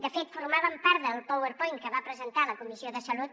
de fet formaven part del powerpoint que va presentar la comissió de salut